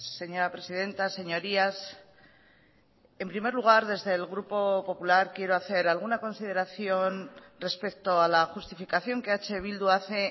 señora presidenta señorías en primer lugar desde el grupo popular quiero hacer alguna consideración respecto a la justificación que eh bildu hace